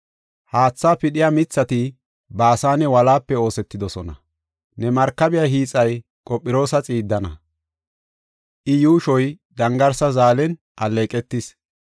Haathaa pidhiya mithati Baasane wolaape oosetidosona. Ne markabiya hiixay Qophiroosa xiiddan, iya yuushoy dangarsa zaalen alleeqetis.